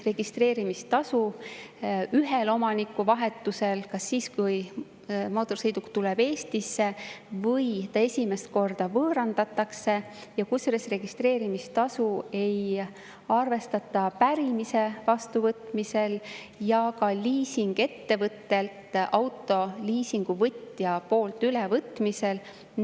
Registreerimistasu on ühel omanikuvahetusel kas siis, kui mootorsõiduk tuleb Eestisse, või siis, kui see esimest korda võõrandatakse, kusjuures registreerimistasu ei arvestata pärimise vastuvõtmisel ja ka liisinguettevõttelt autoliisingu ülevõtmisel.